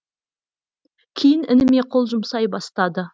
кейін ініме қол жұмсай бастады